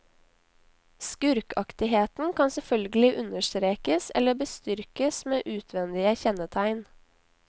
Skurkaktigheten kan selvfølgelig understrekes eller bestyrkes med utvendige kjennetegn.